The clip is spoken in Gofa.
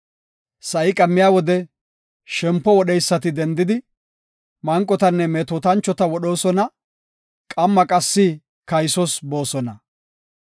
Sa7i qammiya wode shempo wodheysi dendidi, manqotanne metootanchota wodhees; qammi qassi kaysos boosona.